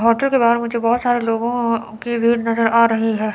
Hotel के बाहर मुझे बहुत सारे लोगों की भीड़ नजर आ रही है।